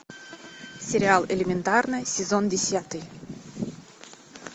сериал элементарно сезон десятый